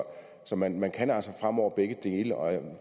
så man man kan altså fremover begge dele og